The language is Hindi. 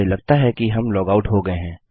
मुझे लगता है कि हम लॉगआउट हो गये हैं